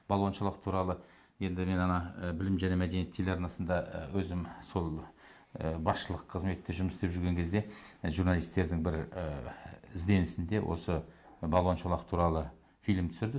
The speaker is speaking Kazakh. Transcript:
балуан шолақ туралы енді мен ана білім және мәдениет телеарнасында і өзім сол ы басшылық қызметте жұмыс істеп жүрген кезде журналистердің бір і ізденісінде осы балуан шолақ туралы фильм түсірді